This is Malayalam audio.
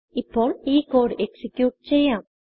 ഇപ്പോൾ ഈ കോഡ് executeചെയ്യാം